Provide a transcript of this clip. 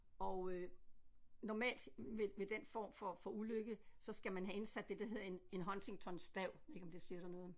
Og øh normalt ved ved den form for for ulykke så skal man have indsat det der hedder en en Huntingtonstav ved ikke om det siger dig noget